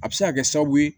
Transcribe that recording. A bɛ se ka kɛ sababu ye